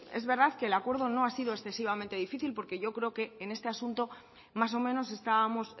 es verdad que el acuerdo no ha sido excesivamente difícil porque yo creo que en este asunto más o menos estábamos